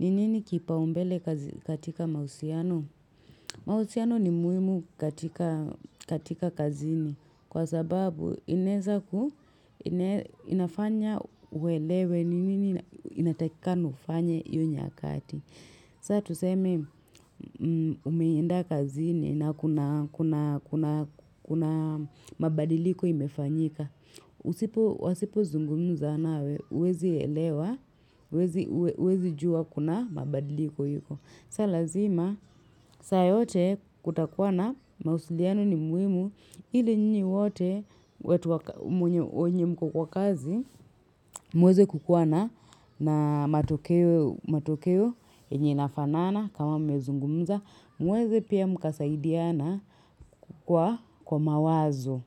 Ni nini kipaumbele katika mausiano? Mausiano ni muimu katika kazini. Kwa sababu inaezaku inafanya uelewe. Ni nini inatakikana ufanye iyo nyakati. Sa tuseme umeenda kazini na kuna kuna kuna kuna mabadiliko imefanyika usipo Wasipozungumza nawe, uwezi elewa, uwezi juwa kuna mabadiliko iko. Sa lazima, saa yote kutakuwa na mausiliano ni muhimu, ili nyinyi wote watu wa wenye mko kwa kazi, muweze kukuwa na matokeo yenye inafanana kama mumezungumza. Muweze pia mkasaidiana kwa mawazo.